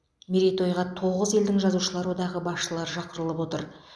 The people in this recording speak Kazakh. мерейтойға тоғыз елдің жазушылар одағы басшылары шақырылып отыр